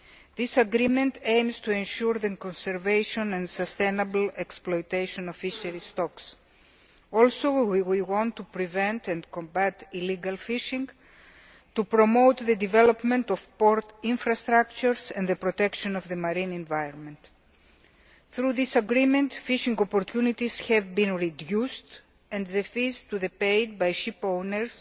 This agreement aims to ensure the conservation and sustainable exploitation of fisheries stocks. We also want to prevent and combat illegal fishing and promote the development of port infrastructures and the protection of the marine environment. Through this agreement, fishing opportunities have been reduced, and the fees to be paid by ship owners